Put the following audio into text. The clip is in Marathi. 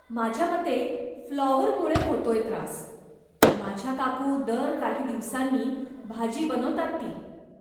माझ्यामते फ्लॉवरमुळे होतोय त्रास, माझ्या काकू दर काही दिवसांनी भाजी बनवतात ती.